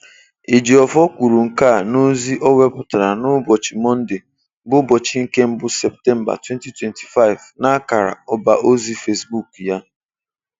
Ejiofor kwuru nke a n'ozi o wepụtara n'ụbọchị Mọnde 1 Septemba, 2025 n'akara ọbaozi Facebook ya.